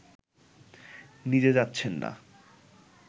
নিজে যাচ্ছেন না